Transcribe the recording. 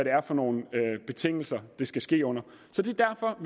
er for nogle betingelser det skal ske under så det